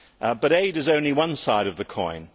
But aid is only one side of the coin.